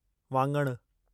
वाङणु